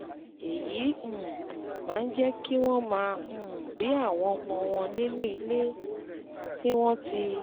Èyí um máa ń jẹ́ kí wọ́n máa um bí àwọn ọmọ wọn nínú ilé tí wọ́n ti